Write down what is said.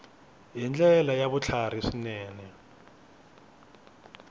hi ndlela ya vutlhari swinene